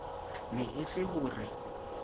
ne e se ho re